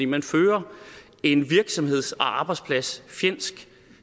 man fører en virksomheds og arbejdspladsfjendsk